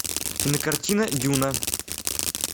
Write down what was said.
кинокартина дюна